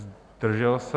Zdržel se?